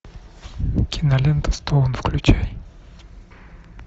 кинолента стоун включай